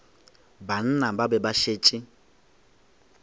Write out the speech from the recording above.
banna ba be ba šetše